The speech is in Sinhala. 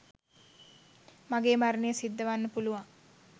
මගේ මරණය සිද්ධ වන්න පුළුවන්.